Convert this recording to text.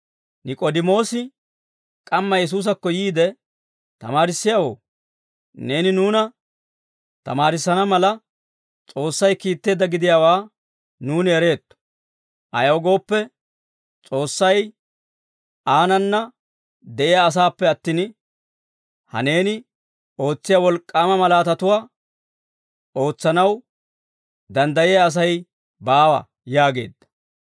Nik'oodimoosi k'amma Yesuusakko yiide, «Tamaarissiyaawoo, neeni nuuna tamaarissana mala S'oossay kiitteedda gidiyaawaa nuuni ereetto; ayaw gooppe, S'oossay aanana de'iyaa asaappe attin, ha neeni ootsiyaa wolk'k'aama malaatatuwaa ootsanaw danddayiyaa Asay baawa» yaageedda.